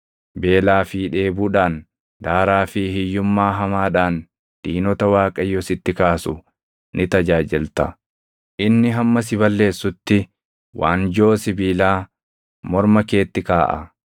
beelaa fi dheebuudhaan, daaraa fi hiyyummaa hamaadhaan diinota Waaqayyo sitti kaasu ni tajaajilta. Inni hamma si balleessutti waanjoo sibiilaa morma keetti kaaʼa.